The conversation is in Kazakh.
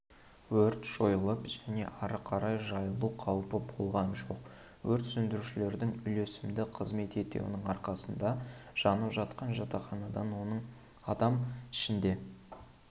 өрт жойылып және ары қарай жайылу қаупі болған жоқ өрт сөндірушілердің үйлесімді қызмет етуінің арқасында жанып жатқан жатақханадан адам оның ішінде